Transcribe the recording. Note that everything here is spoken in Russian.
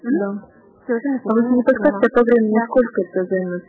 закончить